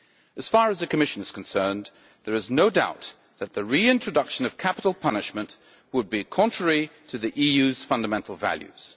As far as the Commission is concerned, there is no doubt that the reintroduction of capital punishment would be contrary to the EU's fundamental values.